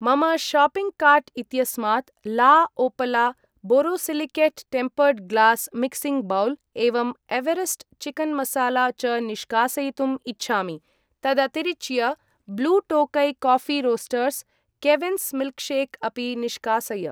मम shopping cart इत्यस्मात् La Opala borosilicate tempered glass mixing bowl एवं एवरेस्ट् चिकन् मसाला च निष्कासयितुम् इच्छामि। तदतिरिच्य Blue Tokai Coffee Roasters , Kevins milkshake अपि निष्कासय।